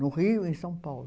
No Rio, em São Paulo.